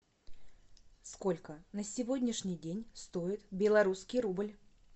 сколько на сегодняшний день стоит белорусский рубль